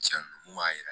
Cɛn kun b'a jira